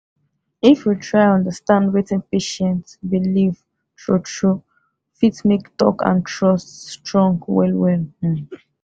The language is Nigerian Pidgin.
if we try understand wetin patient believe true true fit make talk and trust strong well well um